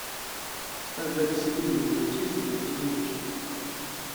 ставь запись игры между манчестером и норвичем